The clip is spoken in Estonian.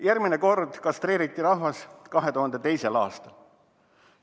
Järgmine kord kastreeriti rahvas 2002. aastal.